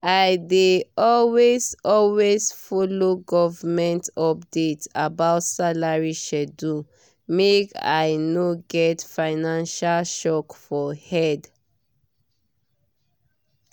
i dey always always follow government updates about salary schedule make i no get financial shock for head.